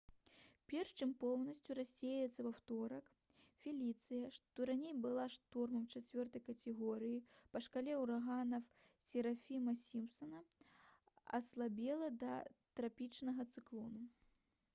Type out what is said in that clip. перш чым поўнасцю рассеяцца ў аўторак «феліцыя» што раней была штормам 4 катэгорыі па шкале ўраганаў сафіра-сімпсана аслабела да трапічнага цыклону